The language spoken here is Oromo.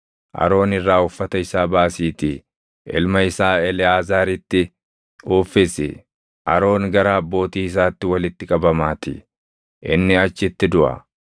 Aroon irraa uffata isaa baasiitii ilma isaa Eleʼaazaaritti uffisi; Aroon gara abbootii isaatti walitti qabamaatii. Inni achitti duʼa.”